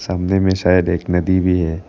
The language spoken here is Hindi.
सामने में शायद एक नदी भी है।